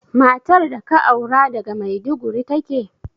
Matar da ka aura daga Maiduguri take?